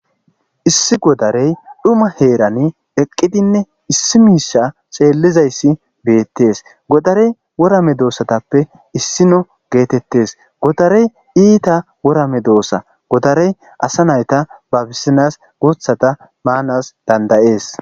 issi godarey dhuma heerani eqqidinne issi miisha xeellizayssi beettes godarey wora medoosatappe issino geetettes godarey iita wora medoossa godarey asa nayta babisinas guuthata maanas danda'ees